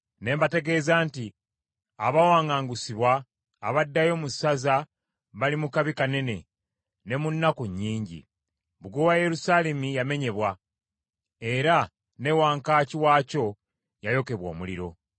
Ne bantegeeza nti, “Abaawaŋŋangusibwa abaddayo mu ssaza bali mu kabi kanene ne mu nnaku nnyingi; bbugwe wa Yerusaalemi yamenyebwa, era ne wankaaki waakyo yayokebwa omuliro.”